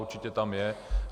Určitě tam je.